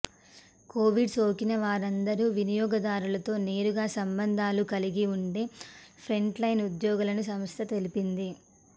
Covid సోకిన వారందరూ వినియోగదారులతో నేరుగా సంబంధాలు కలిగి ఉండే ఫ్రంట్ లైన్ ఉద్యోగులని సంస్థ తెలిపింది